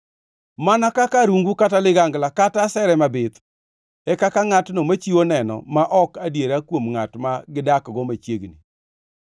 Mana kaka arungu kata ligangla; kata asere mabith, e kaka ngʼatno machiwo neno ma ok adiera kuom ngʼat ma gidakgo machiegni.